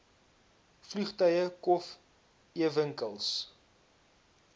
vliegtuie kof ewinkels